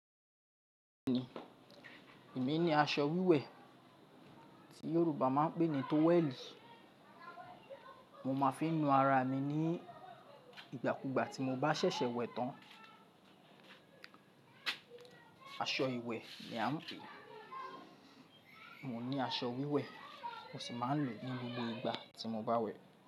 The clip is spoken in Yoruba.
Èmi ní aṣọ wíwẹ̀ tí Yorùbá máa ń pè ní tówẹ́ẹ̀lì, mo máa fi n nu ara mi ní ìgbàkugbà tí mo bá ṣẹ̀ṣẹ̀ wẹ̀ tán. Aṣọ ìwẹ̀ ni à ń pè é. Mo ní aṣọ wíwẹ̀, mo sì máa ń lò ó ní gbogbo ìgbà tí mo bá wẹ̀.